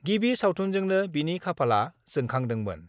गिबि सावथुनजोंनो बिनि खाफालआ जोंखांदोमोन।